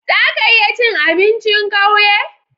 Zaka iya cin abincin kauye?